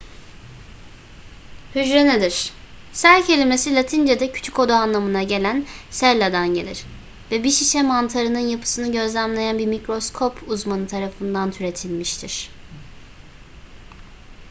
hücre nedir? cell kelimesi latince'de küçük oda anlamına gelen cella"dan gelir ve bir şişe mantarının yapısını gözlemleyen bir mikroskop uzmanı tarafından türetilmiştir